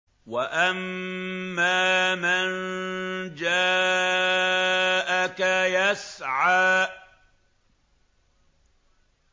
وَأَمَّا مَن جَاءَكَ يَسْعَىٰ